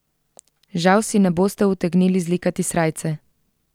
Žal si ne boste utegnili zlikati srajce.